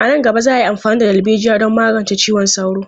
A nan gaba, za a yi amfani da darbejiya don magance ciwon sauro.